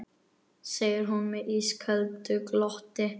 segir hún með ísköldu glotti.